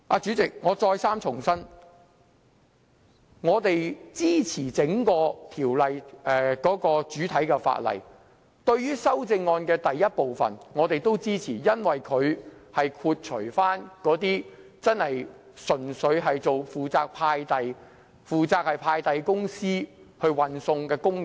主席，我再三重申，我們支持整項《條例草案》的主體，對於第一組修正案，我們也支持，因為修正案剔除真正純粹負責送遞或派遞公司負責運送的工人。